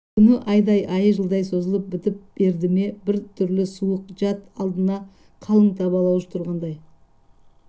күн айдай айы жылдай созылып бітіп берді ме бір түрлі суық жат алдында қалың табалаушы тұрғандай